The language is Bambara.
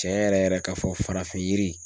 Tiɲɛ yɛrɛ yɛrɛ ka fɔ farafin yiri.